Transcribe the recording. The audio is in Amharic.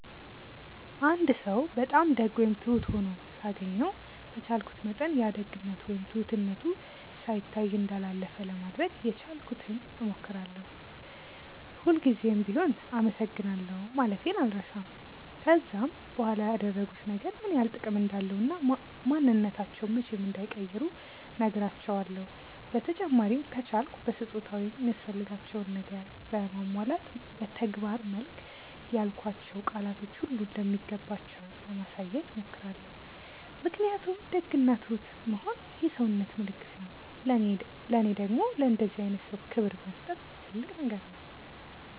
አንድ ሰው በጣም ደግ ወይም ትሁት ሆኖ ሳገኘው በቻልኩት መጠን ያ ደግነቱ ወይም ትሁትነቱ ሳይታይ እንዳላለፈ ለማድረግ የቻልኩትን ሞክራለው፤ ሁል ጉዘም ቢሆም አመሰግናለሁ ማለቴን አልረሳም፤ ከዛም በኋላ ያደረጉት ነገር ምን ያክል ጥቅም እንዳለው እና ማንንነታቸውን መቼም እንዳይቀይሩ ነህራቸውለው፤ በተጨማሪም ከቻልኩ በስጦታ ወይም የሚያስፈልጋቸውን ነገር በማሟላት በተግባር መልክ ያልኳቸው ቃላቶች ሁሉ እንደሚገባቸው ለማሳየት ሞክራለው ምክንያቱም ደግ እና ትሁት መሆን የሰውነት ምልክት ነው ለኔ ደግም ለእንደዚህ አይነት ሰው ክብር መስጠት ትልቅ ነገር ነው።